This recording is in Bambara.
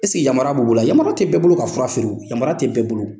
yamara b' bolo wa? Yamara tɛ bɛɛ bolo ka fura feere o, yamara tɛ bɛɛ bolo.